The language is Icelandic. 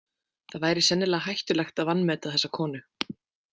Það væri sennilega hættulegt að vanmeta þessa konu.